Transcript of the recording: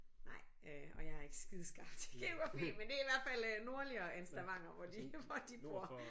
Nej øh og jeg er ikke skide skarp til geografi men det er i hvert fald øh nordligere end Stavanger hvor de hvor de bor